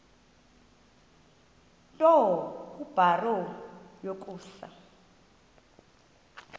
nto kubarrow yokusa